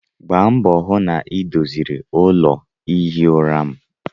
Gbaa mbọ hụ na ị doziri ụlọ ihi ụra m!